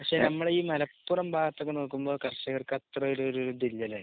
പക്ഷെ നമ്മുടെ ഈ മലപ്പുറം ഭാഗത്തൊക്കെ നോക്കുമ്പോൾ കർഷകർക്ക് അത്ര ഒരു ഒരു ഇത് ഇല്ലല്ലേ.